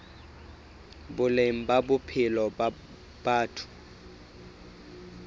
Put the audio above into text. boleng ba bophelo ba batho